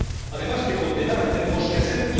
Además de condenar, tenemos que hacer.